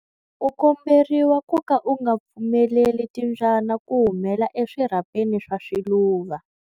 U komberiwa ku ka u nga pfumeleli timbyana ku humela eswirhapeni swa swiluva.